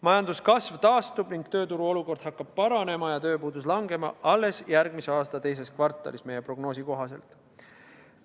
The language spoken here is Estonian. Majanduskasv taastub ning tööturu olukord hakkab paranema ja tööpuudus vähenema alles järgmise aasta teises kvartalis, meie prognoosi kohaselt.